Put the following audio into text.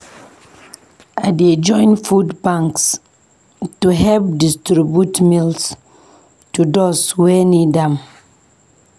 I dey join food banks to help distribute meals to those wey need am.